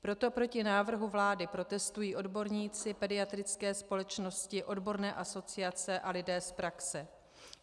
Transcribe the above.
Proto proti návrhu vlády protestují odborníci, pediatrické společnosti, odborné asociace a lidé z praxe.